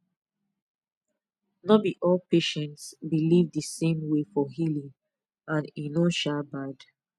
no be all patients believe the same way for healing and e no um bad